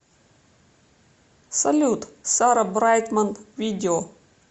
салют сара брайтман видео